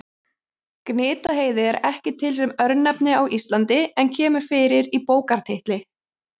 Gnitaheiði er ekki til sem örnefni á Íslandi en kemur fyrir í bókartitli.